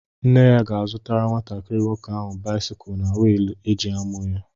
Nne ya ga-azụtara nwatakịrị nwoke áhù báịsikụ na wịịlụ e ji ámụ̀ ya